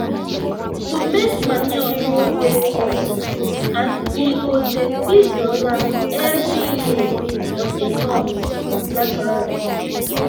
to make manure no dey cost and e go dey feed your land every year on a norms naturally